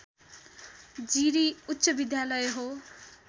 जिरी उच्चविद्यालय हो